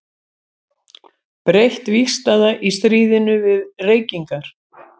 Breytt vígstaða í stríðinu við reykingar.